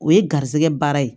O ye garisɛgɛ baara ye